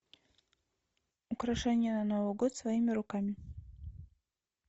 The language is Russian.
украшения на новый год своими руками